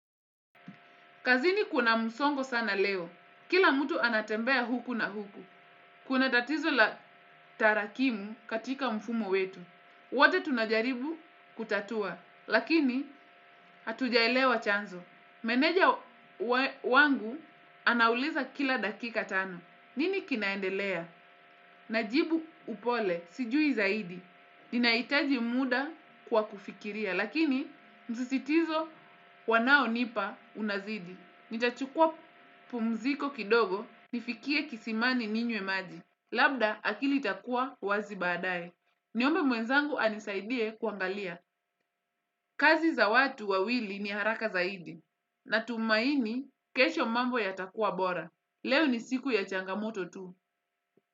Kazini kuna musongo sana leo. Kila mtu anatembea huku na huku. Kuna tatizo la tarakimu katika mfumo wetu. Wato tunajaribu kutatua. Lakini hatujaelewa chanzo. Meneja wangu anauliza kila dakika tano. Nini kinaendelea? Najibu upole. Sijui zaidi. Ninaitaji muda kwa kufikiria. Lakini msisitizo wanaonipa unazidi. Nitachukua pumziko kidogo nifikie kisimani ninyewe maji. Labda akili itakua wazi badae. Niombe mwenzangu anisaidie kuangalia. Kazi za watu wawili ni haraka zaidi. Natumaini kesho mambo yatakuwa bora. Leo ni siku ya changamoto tu.